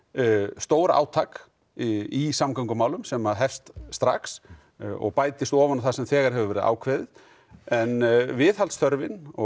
stórátak í samgöngumálum sem hefst strax og bætist ofan á það sem þegar hefur verið ákveðið en viðhaldsþörfin og